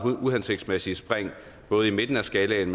uhensigtsmæssige spring både i midten af skalaen